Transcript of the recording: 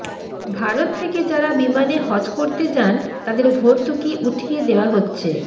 ভারত থেকে যারা বিমানে হজ করতে যান তাদের ভর্তুকি উঠিয়ে দেয়া হচ্ছে